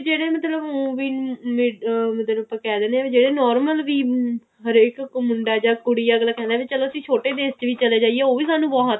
ਜਿਹੜੇ ਮਤਲਬ ਉ ਵੀ ਅਮ ਮਤਲਬ ਆਪਾਂ ਕਿਹ ਦਿੰਨੇ ਆ normal ਵੀ ਹਰੇਕ ਮੁੰਡਾ ਜਾਂ ਕੁੜੀ ਅਗਲਾ ਕਹਿੰਦਾ ਵੀ ਚਲੋ ਅਸੀਂ ਛੋਟੇ ਦੇਸ਼ ਚ ਵੀ ਚਲੇ ਜਾਈਏ ਉਹ ਵੀ ਸਾਨੂੰ ਬਹੁਤ ਹੈ